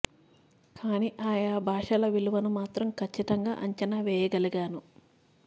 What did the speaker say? కానీ ఆయా భాషల విలువను మాత్రం కచ్చితంగా అంచనా వేయ గలిగాను